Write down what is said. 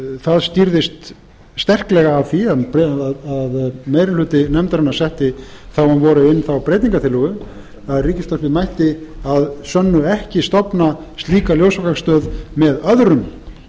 það skýrðist sterklega af því að meiri hluti nefndarinnar setti þá um vorið inn þá breytingartillögu að ríkisútvarpið mætti að sönnu ekki stofna slíka ljósvakastöð með öðrum